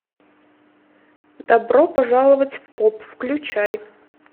добро пожаловать в поп включай